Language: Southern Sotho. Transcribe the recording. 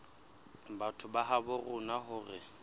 batho ba habo rona hore